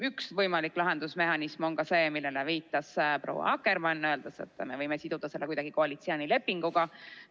Üks võimalik lahendusmehhanisme on ka see, millele viitas proua Akkermann, öeldes, et me võime siduda seda kuidagi koalitsioonilepinguga.